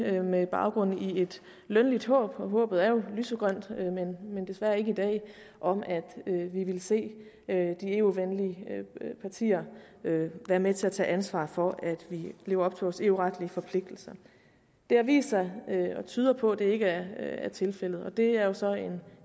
er det med baggrund i et lønligt håb og håbet er jo lysegrønt men desværre ikke i dag om at vi ville se de eu venlige partier være med til at tage ansvar for at vi lever op til vores eu retlige forpligtelser det har vist sig og tyder på at det ikke er tilfældet og det er jo så en